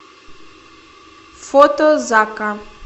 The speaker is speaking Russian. фото закка